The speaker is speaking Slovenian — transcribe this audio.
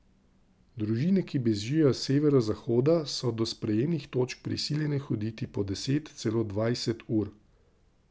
Družine, ki bežijo s severovzhoda, so do sprejemnih točk prisiljene hoditi po deset, celo dvajset ur.